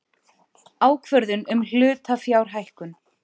Ákvörðun um hlutafjárhækkun.